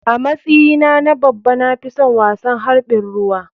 A matsyi na na babba na fison wasan harɓin ruwa.